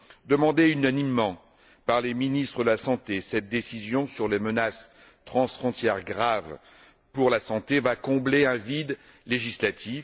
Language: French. Demandée unanimement par les ministres de la santé, cette décision sur les menaces transfrontières graves pour la santé va combler un vide législatif.